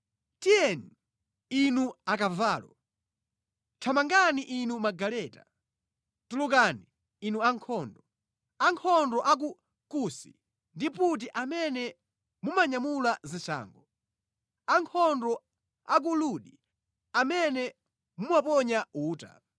Tiyeni, inu akavalo! Thamangani inu magaleta! Tulukani, inu ankhondo, ankhondo a ku Kusi ndi Puti amene mumanyamula zishango, ankhondo a ku Ludi amene mumaponya uta.